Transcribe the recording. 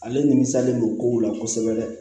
Ale nimisalen don kow la kosɛbɛ